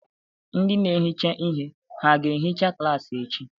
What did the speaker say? Ndị na-ehicha ihe hà ga-ehicha klaasị echi?